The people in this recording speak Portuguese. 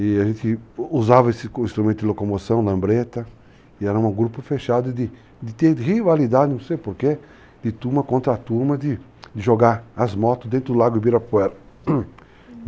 E a gente usava esse instrumento de locomoção, lambreta, e era um grupo fechado de ter rivalidade, não sei porquê, de turma contra turma, de jogar as motos dentro do lago Ibirapuera, Uhum.